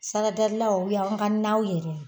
Saradalilaw o y'an ka naw yɛrɛ